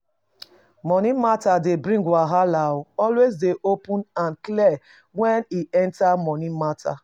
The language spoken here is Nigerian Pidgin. Money matter dey bring wahala, always dey open and clear when e enter money matter